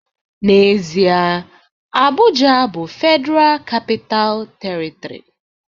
N'ezie, Abuja bụ Federal Capital Territory